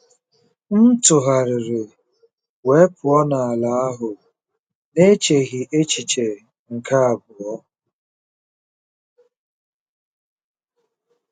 M tụgharịrị wee pụọ n'ala ahụ n'echeghị echiche nke abụọ.